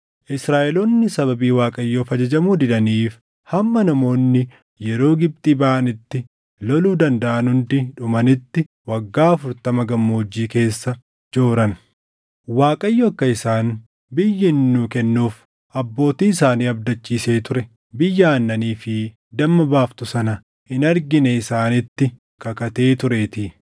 Israaʼeloonni sababii Waaqayyoof ajajamuu didaniif hamma namoonni yeroo Gibxii baʼanitti loluu dandaʼan hundi dhumanitti waggaa afurtama gammoojjii keessa jooran. Waaqayyo akka isaan biyya inni nuu kennuuf abbootii isaanii abdachiisee ture, biyya aannanii fi damma baaftu sana hin argine isaanitti kakatee tureetii.